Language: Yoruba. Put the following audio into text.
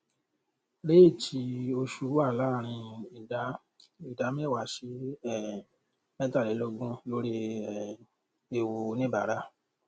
réètì oṣù wà láàrin ìdá ìdá mẹta sí um mẹtàlélógún lórí um ewu oníbàárà